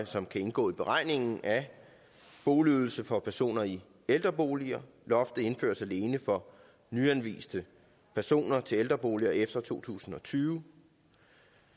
som kan indgå i beregningen af boligydelse for personer i ældreboliger loftet indføres alene for nyanviste personer til ældreboliger efter to tusind og tyve